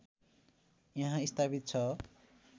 यहाँ स्थापित छ